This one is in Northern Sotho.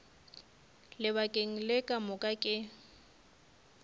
lebakeng le ka moka ke